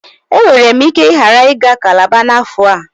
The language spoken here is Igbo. E nwere m ike ghara iga cálábá na afo a